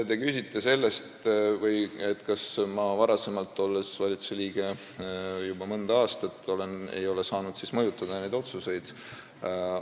Te küsite selle kohta, kas ma varem, olles valitsusliige olnud juba mõnda aastat, ei ole saanud siis neid otsuseid mõjutada.